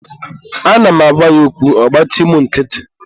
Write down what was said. Ana m agwa ya okwu, ọ gbachi mụ nkịtị.